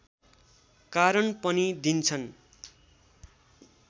कारण पनि दिन्छन्